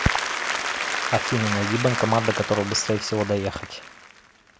афина найди банкомат до которого быстрее всего доехать